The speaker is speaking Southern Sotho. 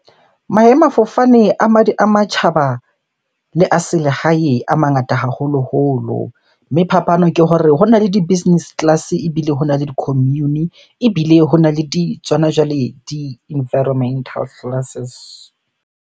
Maemafofane a matjhaba le a selehae a mangata haholoholo. Mme phapano ke hore hona le di-business class, ebile hona le di-commune, ebile hona le di, tsona jwale di-environmental classes.